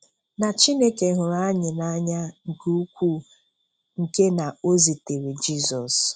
Na Chineke hụrụ anyị n'anya nke ukwuu nke na o zitere Jizọs.